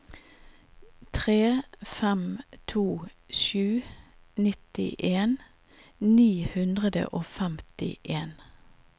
tre fem to sju nittien ni hundre og femtien